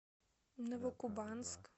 новокубанск